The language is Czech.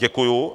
Děkuju.